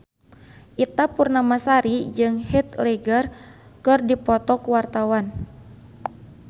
Ita Purnamasari jeung Heath Ledger keur dipoto ku wartawan